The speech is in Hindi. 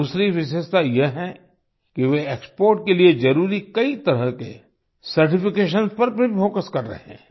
दूसरी विशेषता ये है कि वे एक्सपोर्ट के लिए जरुरी कई तरह के सर्टिफिकेशंस पर भी फोकस कर रहे हैं